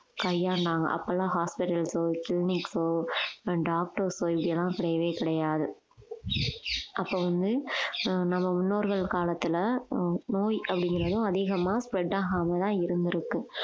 கையாண்டாங்க அப்பெல்லாம் hospitals ஓ clinic ஓ doctors ஓ இப்படி எல்லாம் கிடையவே கிடையாது அப்ப வந்து அஹ் நம்ம முன்னோர்கள் காலத்துல ஆஹ் நோய் அப்படிங்கறதும் அதிகமா spread ஆகாமதான் இருந்திருக்கு